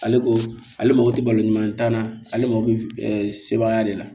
Ale ko ale mako tɛ balo ɲuman ta la ale mako bɛ sebaya de la